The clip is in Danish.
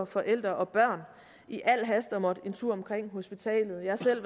forældre og børn i al hast at måtte en tur omkring hospitalet jeg har selv